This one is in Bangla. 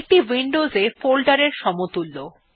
এইটি উইন্ডোজে ফোল্ডারের সমতুল্য